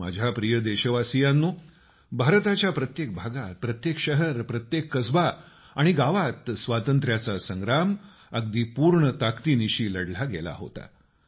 माझ्या प्रिय देशवासियांनो भारताच्या प्रत्येक भागात प्रत्येक शहर प्रत्येक कसबा आणि गावात स्वातंत्ऱ्या चा संग्राम अगदी संपूर्ण ताकदीनिशी लढला गेला होता